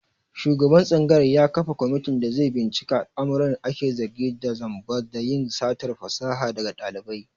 Shugaban tsangayar ya kafa komitin da zai binciki al'amuran ake zargi da zamba da yin satar fasaha daga ɗalibai.